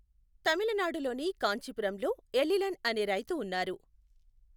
తమిళనాడులోని కాంచీపురంలో ఎలిలన్ అనే రైతు ఉన్నారు.